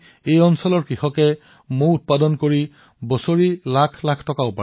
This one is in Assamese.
আজি বনাসকাণ্ঠাৰ কৃষকসকলে মৌ পালনৰ পৰা বছৰি লাখ লাখ টকা উপাৰ্জন কৰি আছে